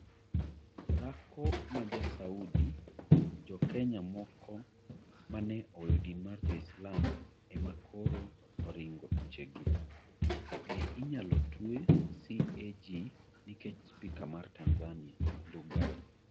Dhako ma Ja-Saudi Jo-Kenya moko ma ne oweyo din mar Jo-Islam e ma koro oringo thuchegi. Be inyalo twe CAG nikech spika mar Tanzania, Ndugai?